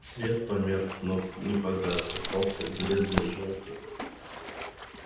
свет померк но не погас остался бледный жёлтый